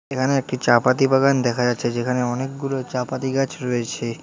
এখানে একটি চা পাতি বাগান দেখা যাচ্ছে যেখানে অনেকগুলো চা পাতি গাছ রয়েছে।